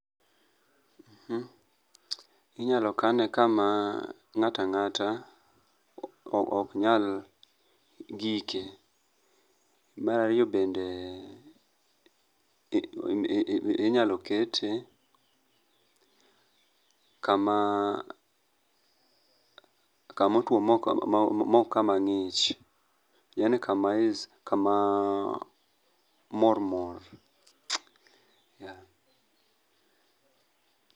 Inyalo kane kama ngata ngata ok nyal gike mar ariyo bende inyalo kete kama kama otuo maok kama ngich yani kama is, kama mormor, yeah